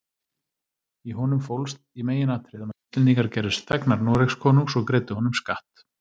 Í honum fólst í meginatriðum að Íslendingar gerðust þegnar Noregskonungs og greiddu honum skatt.